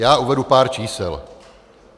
Já uvedu pár čísel.